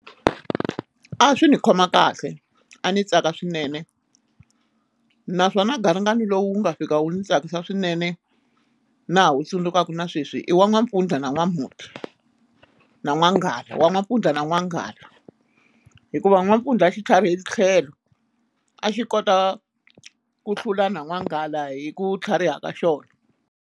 A swi ni khoma kahle a ni tsaka swinene naswona garingani lowu nga fika wu ni tsakisa swinene na ha wu tsundzukaka na sweswi i wa N'wampfundla na N'wamhuti na N'wanghala wa N'wampfundla na N'wanghala hikuva N'wampfundla a xi tlharihe tlhelo a xi kota ku hlula na N'wanghala hi ku tlhariha ka xona.